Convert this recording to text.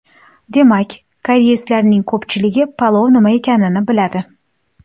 Demak, koreyslarning ko‘pchiligi palov nima ekanini biladi.